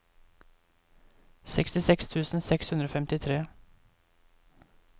sekstiseks tusen seks hundre og femtitre